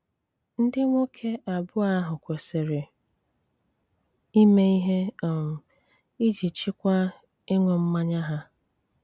ndị nwoke abụọ áhụ kwésírè ímé íhé um iji chị́kwáa ịṅú mmányá há.